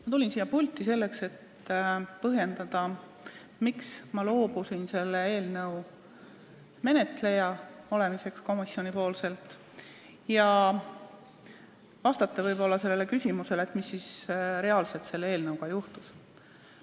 Ma tulin siia pulti selleks, et põhjendada, miks ma loobusin komisjonis seda eelnõu menetlemast, ja vastata küsimusele, mis ikkagi selle eelnõuga juhtus.